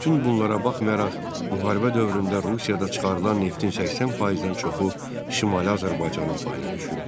Bütün bunlara baxmayaraq, müharibə dövründə Rusiyada çıxarılan neftin 80%-dən çoxu Şimali Azərbaycanın payına düşürdü.